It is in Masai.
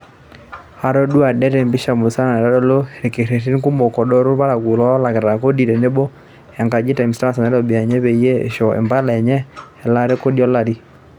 Atodua det e mpisha musana naitodolu ilkererin kumok adoru olparakuo loolakita kodi teboo enkaji e Times Tower, te Nairobi, eenyu peyie eishooyo impale enye elaata e kodi olari.